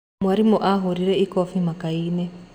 Mwarimũ ahorire ikobi maka-inĩ.